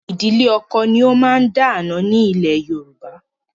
Ìdílé ọkọ ni ó máa ń dá àna ni ilẹ̀ Yorùbá.